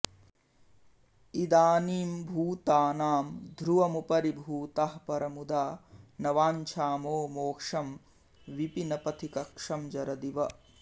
इदानीं भूतानां ध्रुवमुपरि भूताः परमुदा न वाञ्छामो मोक्षं विपिन पथि कक्षं जरदिव